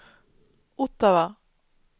Ottawa